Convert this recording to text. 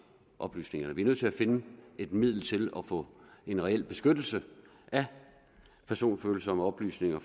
oplysningerne vi er nødt til at finde et middel til at få en reel beskyttelse af personfølsomme oplysninger